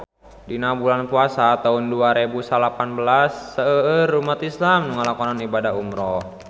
Dina bulan Puasa taun dua rebu salapan belas seueur umat islam nu ngalakonan ibadah umrah